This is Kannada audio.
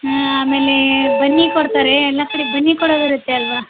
ಆಮೇಲೆ ಬನ್ನಿ ಕೊಡ್ತಾರೆ. ಎಲ್ಲಾ ಕಡೆ ಬನ್ನಿ ಕೊಡೋದ್ ಇರತ್ತೆ ಅಲ್ವಾ.